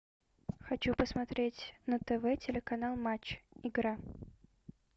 хочу посмотреть на тв телеканал матч игра